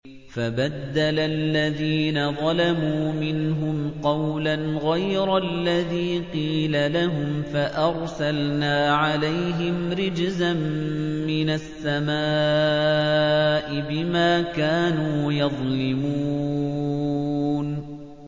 فَبَدَّلَ الَّذِينَ ظَلَمُوا مِنْهُمْ قَوْلًا غَيْرَ الَّذِي قِيلَ لَهُمْ فَأَرْسَلْنَا عَلَيْهِمْ رِجْزًا مِّنَ السَّمَاءِ بِمَا كَانُوا يَظْلِمُونَ